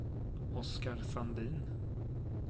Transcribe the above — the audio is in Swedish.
Oskar Sandin